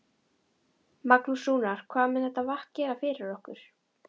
Magnús: Rúnar, hvað mun þetta vatn gera fyrir ykkur?